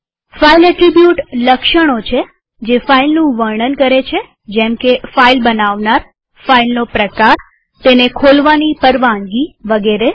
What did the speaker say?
file attribute લક્ષણો છે જે ફાઈલનું વર્ણન કરે છે જેમકે ફાઈલ બનાવનારફાઈલનો પ્રકારતેને ખોલવાની પરવાનગીવગેરે